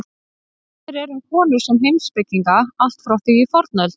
Heimildir eru um konur sem heimspekinga allt frá því í fornöld.